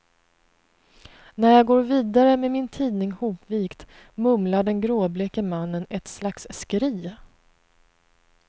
När jag går vidare med min tidning hopvikt, mumlar den gråbleke mannen ett slags skri.